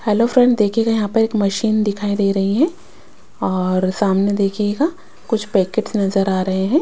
Hello friends देखिएगा यहाँ पर एक मशीन दिखाई दे रही है और सामने देखिएगा कुछ पैकेट्स नजर आ रहे हैं।